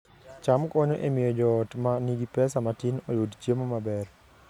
cham konyo e miyo joot ma nigi pesa matin oyud chiemo maber